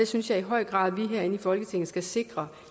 synes i høj grad at vi herinde i folketinget skal sikre